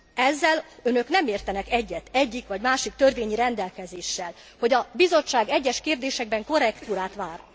Ezzel önök nem értenek egyet, egyik vagy másik törvényi rendelkezéssel, hogy a Bizottság egyes kérdésekben korrektúrát vár.